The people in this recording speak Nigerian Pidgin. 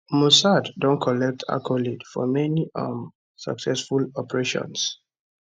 mossad don collect accolade for many um successful operations